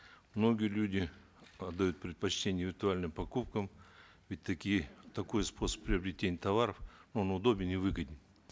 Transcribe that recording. многие люди отдают предпочтение виртуальным покупкам ведь такие такой способ приобретения товаров он удобен и выгоден